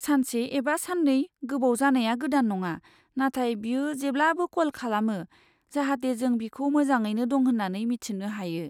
सानसे एबा साननै गोबाव जानाया गोदान नङा, नाथाय बियो जेब्लाबो कल खालामो, जाहाथे जों बिखौ मोजाङैनो दं होन्नानै मिथिनो हायो।